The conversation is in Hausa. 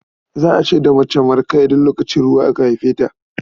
Za a ce da mace Marka idan lokacin ruwa aka haife ta.